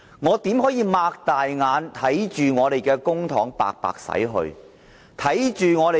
我們怎可能睜開雙眼，看着我們的公帑白白浪費？